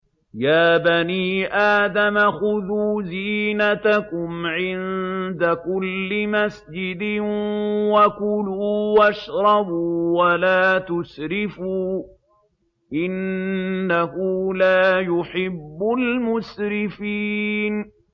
۞ يَا بَنِي آدَمَ خُذُوا زِينَتَكُمْ عِندَ كُلِّ مَسْجِدٍ وَكُلُوا وَاشْرَبُوا وَلَا تُسْرِفُوا ۚ إِنَّهُ لَا يُحِبُّ الْمُسْرِفِينَ